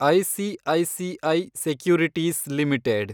ICICI securities limited